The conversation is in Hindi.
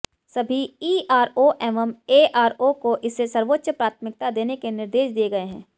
सभी ईआरओ एवं एआरओ को इसे सर्वोच्च प्राथमिकता देने के निर्देश दिये गये है